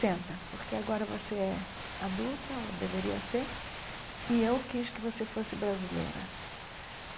Senta, porque agora você é adulta, ou deveria ser, e eu quis que você fosse brasileira.